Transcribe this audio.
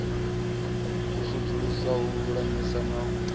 u sudzulusa u lulamisa na